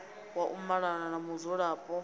wa u malana na mudzulapo